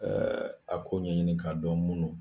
a ko' ɲɛ ɲini k'a dɔn munnu.